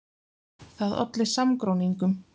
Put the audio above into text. Það olli samgróningum.